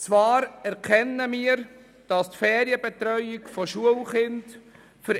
Zwar erkennen wir, dass die Ferienbetreuung von Schulkindern